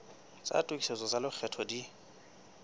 tsa tokisetso tsa lekgetho di